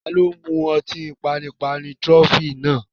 Taani ó mú ọtí panipani "Trophy" náà